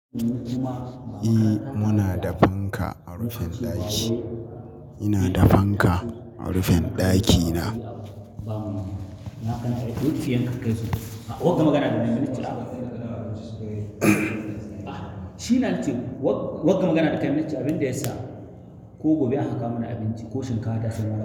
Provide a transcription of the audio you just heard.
Eh muna da fanka a rufin ɗaki. Ina da fanka a rufin ɗakina. Wanga magana da kayi mun nace abin da ya sa ko gobe an kawo mana abinci ko shinkafa ta sai mun.